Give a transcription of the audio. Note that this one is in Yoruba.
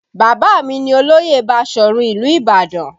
Baba mi ní olóyè Basọ̀run ìlú Ibadan